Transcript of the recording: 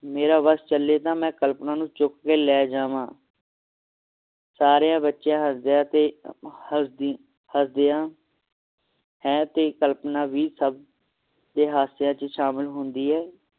ਮੇਰਾ ਵਸ ਚੱਲੇ ਤਾ ਮੈਂ ਕਲਪਨਾ ਨੂੰ ਚੁੱਕ ਕੇ ਲੈ ਜਾਵਾਂ ਸਾਰਿਆਂ ਬੱਚਿਆਂ ਹਸਦਿਆਂ ਤੇ ਹਸਦਿਆਂ ਹੈ ਤੇ ਕਲਪਨਾ ਵੀ ਸਭ ਦੇ ਹਾਸਿਆਂ ਚ ਸ਼ਾਮਿਲ ਹੁੰਦੀ ਹੈ